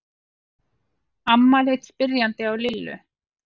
Amma leit spyrjandi á Lillu.